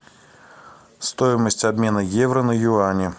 стоимость обмена евро на юани